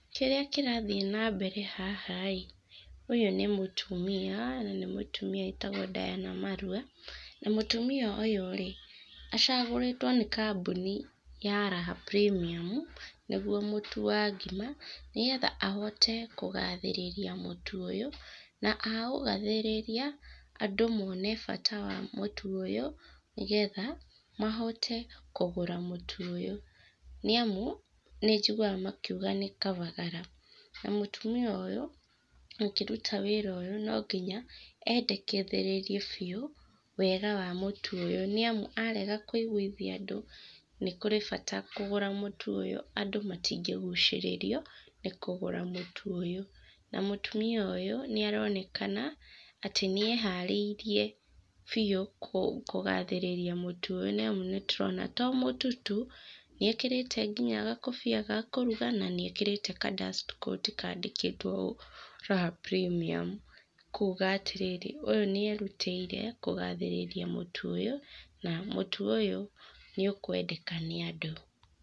Kĩrĩa kĩrathiĩ na mbere haha ĩ, ũyũ nĩ mũtũmia na nĩ mũtumia wĩtagwo Diana Marua. Na mũtumia ũyũ rĩ, acagũrĩtwo nĩ kambuni ya Raha Premium, nĩguo mũtu wa ngima, nĩgetha ahote kũgathĩrĩria mũtũ ũyũ na aũgathĩrĩria andũ mone bata wa mũtũ ũyũ nĩgetha mahote kũgũra mũtu ũyũ, nĩ amu nĩ njiguaga makiuga nĩ kabagara. Na mũtumia ũyũ akĩruta wĩra ũyũ no nginya endeketherĩrie biũ wega wa mũtu ũyũ nĩ amu arega kũiguithia andũ nĩ kũrĩ bata kũgũra mũtũ ũyũ, andũ matingĩgucĩrĩrio nĩ kũgũra mũtu ũyũ. Na mũtumia ũyũ nĩ aronekana atĩ nĩ eharĩirie biũ kũgathĩrĩria mũtu ũyũ nĩ amu, nĩ tũrona to mũtu tu, nĩ ekĩrĩte nginya gakobia ga kũruga na nĩ ekĩrĩte ka dust coat kaandĩkĩtwo Raha Premium. Kuuga atĩ rĩrĩ ũyũ nĩ erutĩire kũgathĩrĩria mũtu ũyũ na mũtu ũyũ nĩ ũkwendeka nĩ andũ.